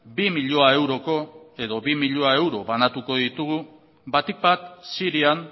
bi milioi euroko edo bi milioi euro banatuko ditugu batik bat sirian